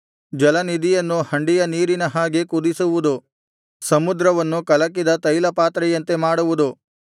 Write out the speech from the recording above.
ಜಲನಿಧಿಯನ್ನು ಹಂಡೆಯ ನೀರಿನ ಹಾಗೆ ಕುದಿಸುವುದು ಸಮುದ್ರವನ್ನು ಕಲಕಿದ ತೈಲಪಾತ್ರೆಯಂತೆ ಮಾಡುವುದು